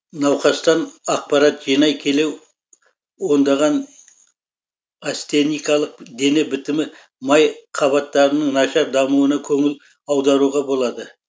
науқастан ақпарат жинай келе ондаған астеникалық дене бітімі май қабатырының нашар дамуына көңіл аударуға болады